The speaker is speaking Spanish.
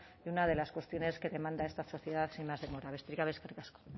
y una de las cuestiones que demanda esta sociedad sin más demora besteriz gabe eskerrik asko